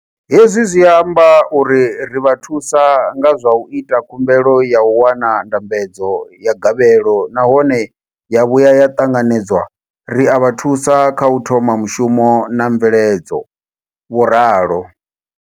Hezwi zwi amba uri ri vha thusa nga zwa u ita khumbelo ya u wana ndambedzo ya gavhelo nahone ya vhuya ya ṱanganedzwa, ri a vha thusa kha u thoma mushumo na mveledzo, vho ralo.